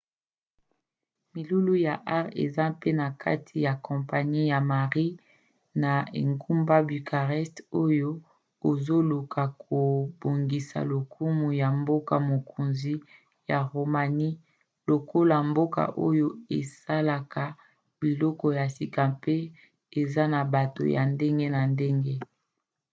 milulu ya art eza mpe na kati ya kampanie ya marie ya engumba bucarest oyo ezoluka kobongisa lokumu ya mboka-mokonzi ya roumanie lokola mboka oyo esalaka biloko ya sika mpe eza na bato ya ndenge na ndenge